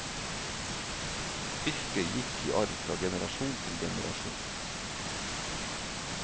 Yrket gikk i arv fra generasjon til generasjon.